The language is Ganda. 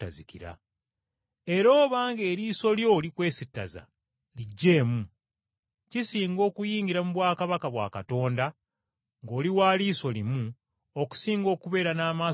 Era obanga eriiso lyo likwesittaza, liggyeemu! Kisinga okuyingira mu bwakabaka bwa Katonda ng’oli wa liiso limu okusinga okubeera n’amaaso go gombi,